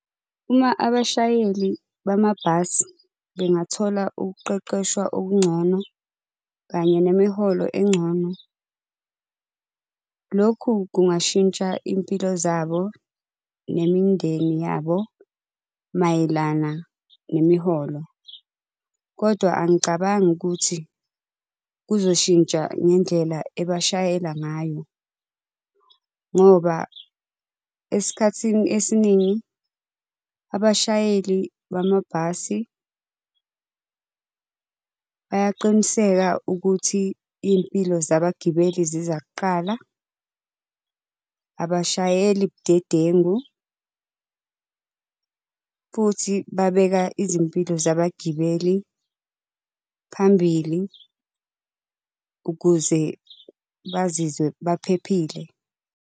Uma abashayeli bamabhasi bengathola ukuqeqeshwa okungcono, kanye nemiholo engcono. Lokhu kungashintsha izimpilo zabo nemindeni yabo mayelana nemiholo. Kodwa angicabangi ukuthi kuzoshintsha ngendlela ebashayela ngayo. Ngoba, esikhathini esiningi abashayeli bamabhasi bayaqiniseka ukuthi iy'mpilo zabagibeli ziza kuqala, abashayeli budedengu, futhi babeka izimpilo zabagibeli phambili, ukuze bazizwe baphephile.